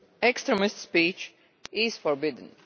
Extremist speech is forbidden.